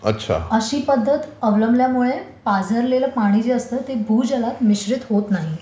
अशी पद्धत अवलंबल्यामुळे पाझरलेलं पाणी जे असतं ते भूजलात मिश्रित होत नाही.